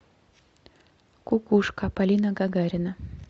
кукушка полина гагарина